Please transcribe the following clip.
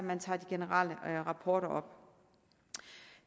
man tager de generelle rapporter op